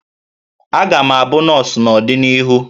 Aga m abụ nọọsụ n'ọdịnihu